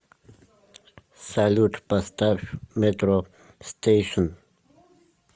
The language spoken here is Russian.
салют поставь метро стейшн